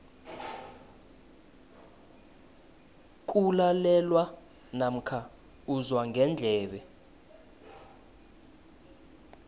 kulalelwa namkha uzwa ngendlebe